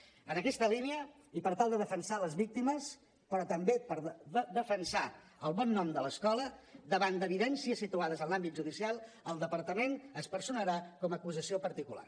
en aquesta línia i per tal de defensar les víctimes però també per defensar el bon nom de l’escola davant d’evidències situades en l’àmbit judicial el departament es personarà com a acusació particular